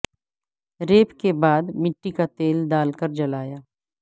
rape کے بعد مٹی کا تیل ڈال کر جلایا